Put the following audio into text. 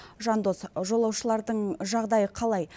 жандос жолаушылардың жағдайы қалай